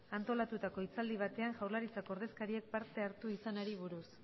antolatutako hitzaldi batean jaurlaritzako ordezkariek parte hartu izanari buruz